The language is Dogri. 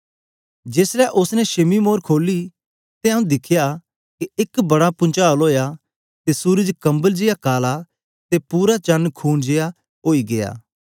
जेस ले उस्स ने छेमी मोर खोली ते आऊँ दिखया के एक बड़ा पुंचाल ओया ते सूरज कंबल जेया काला ते पूरा चण खून जेया ओई गीया